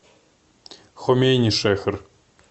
хомейнишехр